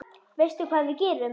Veistu hvað við gerum?